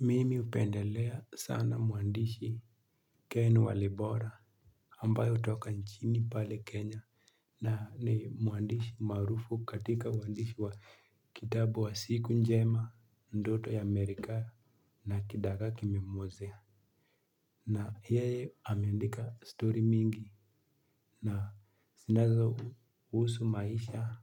Mimi upendelea sana muandishi Ken wa Libora ambayo toka nchini pale Kenya. Na ni muandishi maarufu katika muandishi wa kitabu wa siku njema ndoto ya Amerika na kidagaa kimemwozea. Na yeye ameandika stori mingi na zinazo husu maisha,